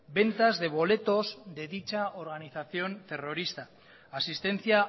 ventas de boletos de dicha organización terrorista asistencia